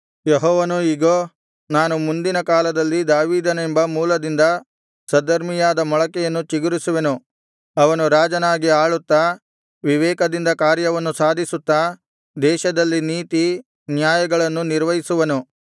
ಯೆಹೋವನು ಇಗೋ ನಾನು ಮುಂದಿನ ಕಾಲದಲ್ಲಿ ದಾವೀದನೆಂಬ ಮೂಲದಿಂದ ಸದ್ಧರ್ಮಿಯಾದ ಮೊಳಕೆಯನ್ನು ಚಿಗುರಿಸುವೆನು ಅವನು ರಾಜನಾಗಿ ಆಳುತ್ತಾ ವಿವೇಕದಿಂದ ಕಾರ್ಯವನ್ನು ಸಾಧಿಸುತ್ತಾ ದೇಶದಲ್ಲಿ ನೀತಿ ನ್ಯಾಯಗಳನ್ನು ನಿರ್ವಹಿಸುವನು